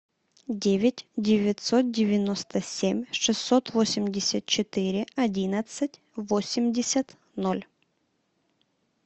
девять девятьсот девяносто семь шестьсот восемьдесят четыре одиннадцать восемьдесят ноль